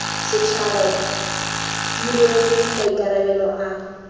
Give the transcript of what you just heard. setšhaba di rwale maikarabelo a